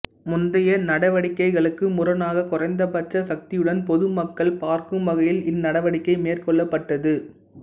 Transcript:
முந்தைய நடவடிக்கைகளுக்கு முரணாக குறைந்தபட்ச சக்தியுடன் பொதுமக்கள் பார்க்கும்வகையில் இந்நடவடிக்கை மேற்கொள்ளப்பட்டது